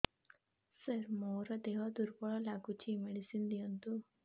ସାର ମୋର ଦେହ ଦୁର୍ବଳ ଲାଗୁଚି ମେଡିସିନ ଦିଅନ୍ତୁ